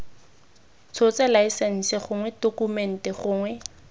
tshotse laesense gongwe tokumente gongwe